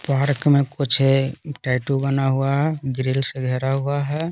Park में कुछ tattoo बना हुआ है ग्रिल से घरा हुआ है।